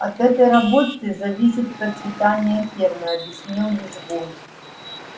от этой работы зависит процветание фермы объяснил визгун